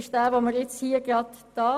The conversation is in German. Um welche Massnahmen geht es?